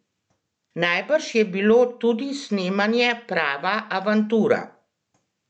Najbrž je bilo tudi snemanje prava avantura?